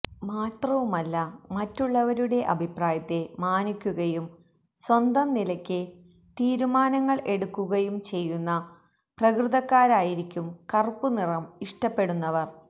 മാത്രവുമല്ല മറ്റുള്ളവരുടെ അഭിപ്രായത്തെ മാനിക്കുകയും സ്വന്തം നിലക്ക് തീരുമാനങ്ങൾ എടുക്കുകയും ചെയ്യുന്ന പ്രകൃതക്കാരായിരിക്കും കറുപ്പ് നിറം ഇഷ്ടപ്പെടുന്നവർ